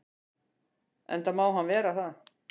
Enda má hann vera það.